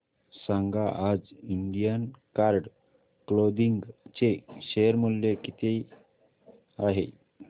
सांगा आज Indian card clothing चे शेअर मूल्य किती आहे